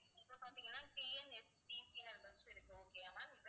இப்ப பார்த்தீங்கன்னா TNSTC ன்னு ஒரு bus இருக்கு okay யா ma'am